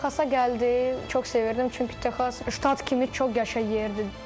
Texasa gəldik, çox sevirdim, çünki Texas ştat kimi çox qəşəng yerdir.